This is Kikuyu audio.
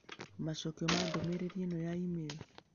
Macokio ma ndũmĩrĩri ĩno ya e-mail: